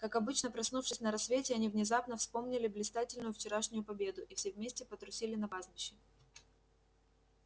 как обычно проснувшись на рассвете они внезапно вспомнили блистательную вчерашнюю победу и все вместе потрусили на пастбище